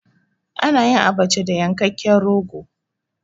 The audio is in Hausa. A nayin Abacha da yankekken rogo